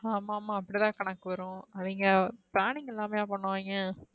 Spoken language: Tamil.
ஆமா ஆமா அப்டி தான் கணக்கு வரும். அவிங்க planning இல்லாமல பண்ணுவாய்ங்க.